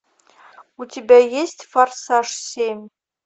у тебя есть форсаж семь